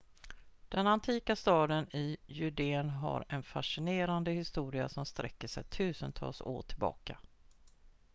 den antika staden i judeen har en fascinerande historia som sträcker sig tusentals år tillbaka